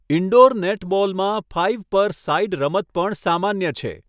Indoor નેટબોલમાં five પર side રમત પણ સામાન્ય છે.